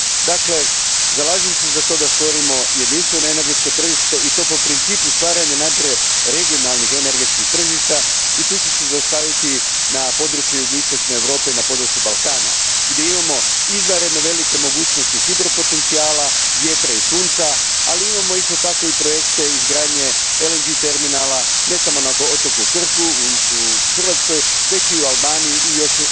Dakle, zalažem se za to da stvorimo jedinstveno energetsko tržište i to po principu stvaranja najprije regionalnih energetskih tržišta i tu ću se zaustaviti na području istočne Europe, na području Balkana, gdje imamo izvanredno velike mogućnosti hidropotencijala, vjetra i sunca, ali imamo isto tako i projekte izgradnje LNG terminala, ne samo na otoku Krku u Hrvatskoj, već i u Albaniji i još